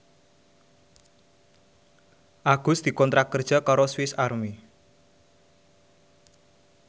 Agus dikontrak kerja karo Swis Army